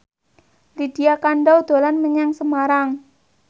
Lydia Kandou dolan menyang Semarang